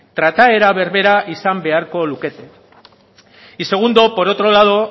trataera berbera izan beharko lukete y segundo por otro lado